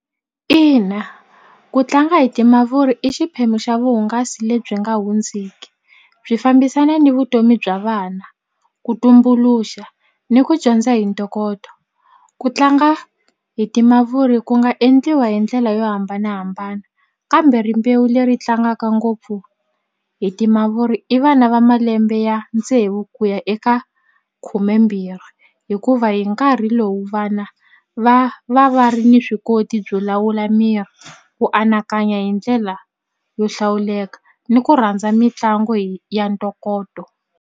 Ina ku tlanga hi timavuri i xiphemu xa vuhungasi lebyi nga hundziki byi fambisana ni vutomi bya vana ku tumbuluxa ni ku dyondza hi ntokoto ku tlanga hi timavuri ku nga endliwa hi ndlela yo hambanahambana kambe rimbewu leri tlangaka ngopfu hi timavuri i vana va malembe ya tsevu ku ya eka khumembirhi hikuva hi nkarhi lowu vana va va va ri ni swi koti byo lawula miri ku anakanya hi ndlela yo hlawuleka ni ku rhandza mitlangu hi ya ntokoto.